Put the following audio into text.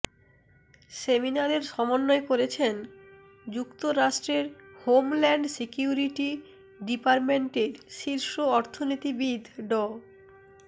সেমিনারের সমন্বয় করছেন যুক্তরাষ্ট্রের হোমল্যান্ড সিকিউরিটি ডিপার্টমেন্টের শীর্ষ অর্থনীতিবিদ ড